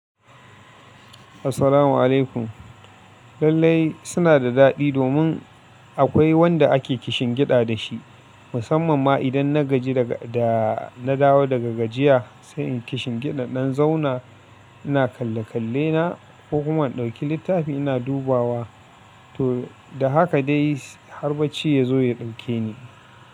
Assalamu alaikum. Lallai suna da daɗi domin akwai wanda ake kishin kiɗa da shi. Musamman ma idan na gaji da na dawo daga gajiya, sai in kishin kiɗa ɗan zauna ina kalle kalle na, ko kuma in ɗauki littafi ina dubawa. To da haka dai har bacci ya zo ya ɗauke ni.